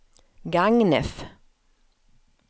Gagnef